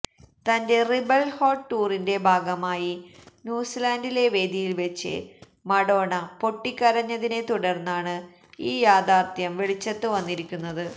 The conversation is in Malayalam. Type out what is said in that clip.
തന്റെ റിബല് ഹേര്ട്ട് ടൂറിന്റെ ഭാഗമായി ന്യൂസിലാന്റിലെ വേദിയില് വച്ച് മഡോണ പൊട്ടിക്കരഞ്ഞതിനെ തുടര്ന്നാണ് ഈ യാഥാര്ത്ഥ്യം വെളിച്ചത്ത് വന്നിരിക്കുന്നത്